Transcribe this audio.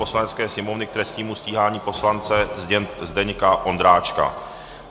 Poslanecké sněmovny k trestnímu stíhání poslance Zdeňka Ondráčka